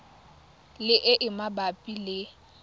le e e mabapi le